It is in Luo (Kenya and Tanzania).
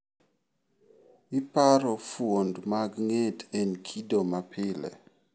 Iparo fuond mag nge't en kido mapile.